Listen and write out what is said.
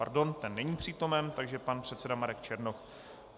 Pardon, ten není přítomen, takže pan předseda Marek Černoch.